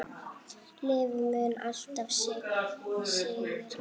Lífið mun alltaf sigra.